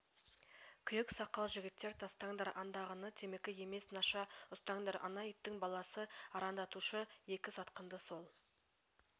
күйек сақал жігіттер тастаңдар андағыны темекі емес наша ұстаңдар ана иттің баласын арандатушы екі сатқынды сол